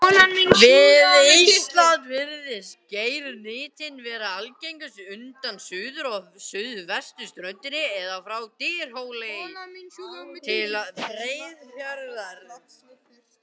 Við Ísland virðist geirnytin vera algengust undan suður- og suðvesturströndinni eða frá Dyrhólaey til Breiðafjarðar.